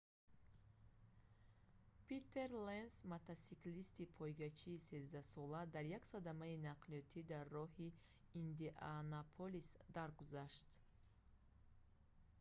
питер ленц мотосиклисти пойгачии13-сола дар як садамаи нақлиётӣ дар роҳи индианаполис даргузашт